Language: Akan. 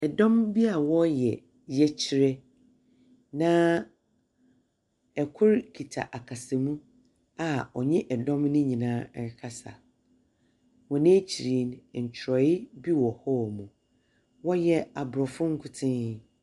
Ɛdɔm bi a wɔɔyɛ yɛkyerɛ na ɛkro kita akasamu a ɔnye ɛdɔm no nyinaa ɛrekasa. Wɔn akyiri no, ɛtwerɛye bi wɔ hɔɔmo, wɔyɛ abrɔfo nkotsee.